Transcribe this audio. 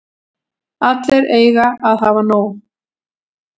Allir eiga að hafa nóg.